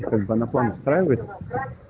устраивает